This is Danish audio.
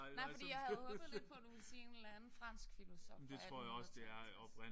Nej fordi jeg havde håbet lidt på du ville sige en eller anden fransk filosof fra 1853